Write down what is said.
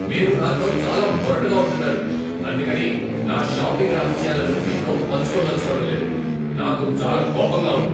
మీరు నాతో చాలా మొరటుగా ఉంటున్నారు, అందుకని నా షాపింగ్ రహస్యాలను మీతో పంచుకోదలుచుకోడంలేదు, నాకు చాలా కోపంగా ఉంది.